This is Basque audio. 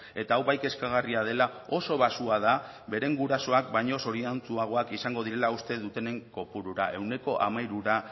eta hau bai kezkagarria dela oso baxua da beren gurasoak baino zoriontsuagoak izango direla uste dutenen kopurura ehuneko hamairura